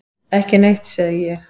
Ekki neitt, segi ég.